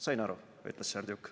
"Sain aru," ütles Serdjuk.